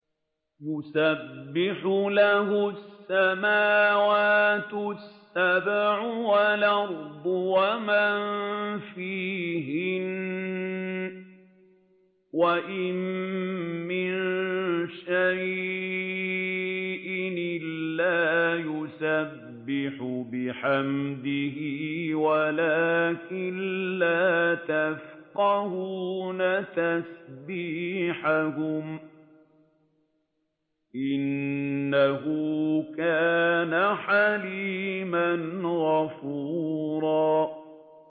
تُسَبِّحُ لَهُ السَّمَاوَاتُ السَّبْعُ وَالْأَرْضُ وَمَن فِيهِنَّ ۚ وَإِن مِّن شَيْءٍ إِلَّا يُسَبِّحُ بِحَمْدِهِ وَلَٰكِن لَّا تَفْقَهُونَ تَسْبِيحَهُمْ ۗ إِنَّهُ كَانَ حَلِيمًا غَفُورًا